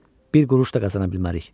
Bir quruş da qazana bilmərik.